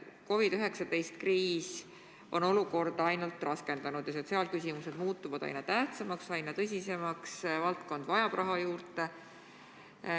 COVID-19 kriis on olukorda kõvasti raskendanud ja sotsiaalküsimused muutuvad aina tähtsamaks, aina tõsisemaks, valdkond vajab raha juurde.